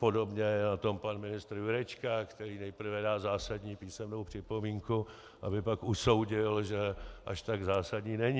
Podobně je na tom pan ministr Jurečka, který nejprve dá zásadní písemnou připomínku, aby pak usoudil, že až tak zásadní není.